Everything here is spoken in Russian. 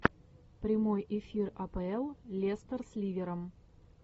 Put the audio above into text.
прямой эфир апл лестер с ливером